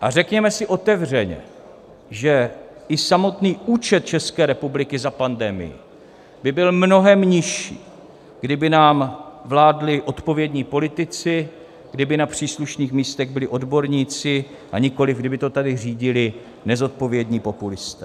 A řekněme si otevřeně, že i samotný účet České republiky za pandemii by byl mnohem nižší, kdyby nám vládli odpovědní politici, kdyby na příslušných místech byli odborníci, a nikoliv kdyby to tady řídili nezodpovědní populisté.